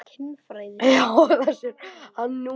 Það sér hann núna.